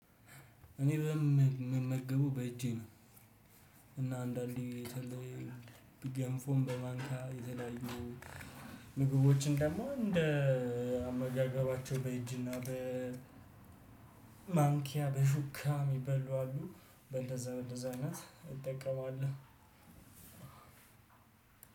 እኔ በም ምመገበው በእጄ ነው። እና አንዳንዴ በተለይ በገንፎም በማንኪያ የተለያዩ ምግቦችን ደግሞ እንደ አመጋገባቸው በእጅና በ በማንኪያ በሹካም ሚበሉ አሉ በእንደዛ በእንደዛ አይነት እጠቀማለሁ።